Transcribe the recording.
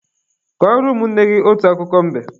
Kọrọ ụmụnne gị otu akụkọ mbe!